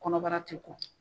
Kɔnɔbara ti ko.